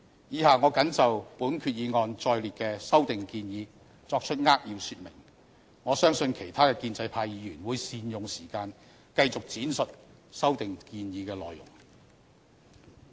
以下我謹就本決議案載列的修訂建議作出扼要說明，我相信其他建制派議員會善用時間繼續闡述修訂建議的內容。